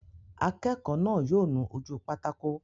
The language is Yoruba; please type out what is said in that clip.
Akẹ́kọ̀ọ́ náà yóò nu ojú pátákó